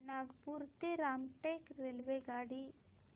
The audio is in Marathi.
नागपूर ते रामटेक रेल्वेगाडी